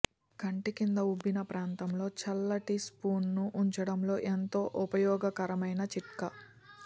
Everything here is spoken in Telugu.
కంటి కింద ఉబ్బిన ప్రాంతంలో చల్లటి స్పూన్ ను ఉంచడం ఎంతో ఉపయోగకరమైన చిట్కా